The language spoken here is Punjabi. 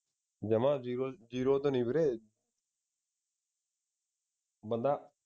ਜਮਾ ਜੀਰੋ ਜੀਰੋ ਤੇ ਨਹੀਂ ਵੀਰੇ ਬੰਦਾ